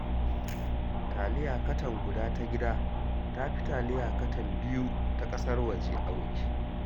Taliya katan guda ta gida, ta fi taliya katan biyu ta ƙasar waje auki